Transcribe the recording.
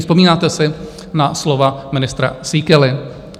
Vzpomínáte si na slova ministra Síkely?